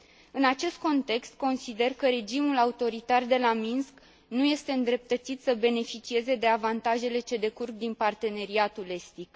În acest context, consider că regimul autoritar de la Minsk nu este îndreptățit să beneficieze de avantajele ce decurg din Parteneriatul estic.